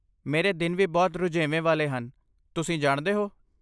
ਮੇਰੇ ਦਿਨ ਵੀ ਬਹੁਤ ਰੁਝੇਵੇਂ ਵਾਲੇ ਹਨ, ਤੁਸੀਂ ਜਾਣਦੇ ਹੋ।